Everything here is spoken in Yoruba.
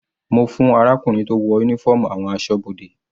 Mo fún arákùnrin tó wọ uniform àwọn asọ́bodè.